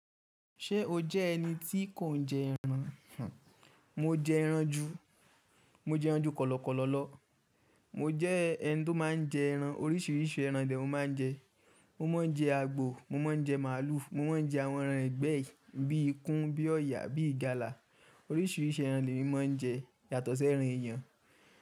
Ṣé o jẹ́ ẹni tí kò ń jẹ ẹran? Mo jẹ ẹran jù, mo jẹ ẹran jù kọ̀lọ̀kọ̀lọ̀ lọ. Mo jẹ́ ẹni tó máa ń jẹ ẹran, oríṣiríṣi ẹran lè mo máa ń jẹ. Mo máa ń jẹ àgbò, mo máa ń jẹ màlúù, mo máa ń jẹ àwọn ẹran ìgbẹ́ yìí bíi ikún, bíi ọ̀yà, bíi ìgalà. Oríṣiríṣi ẹran lè mí máa ń jẹ yàtọ̀ sí ẹran èèyàn.